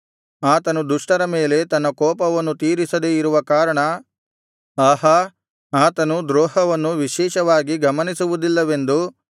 ಆತನು ದುಷ್ಟರ ಮೇಲೆ ತನ್ನ ಕೋಪವನ್ನು ತೀರಿಸದೆ ಇರುವ ಕಾರಣ ಆಹಾ ಆತನು ದ್ರೋಹವನ್ನು ವಿಶೇಷವಾಗಿ ಗಮನಿಸುವುದಿಲ್ಲವೆಂದು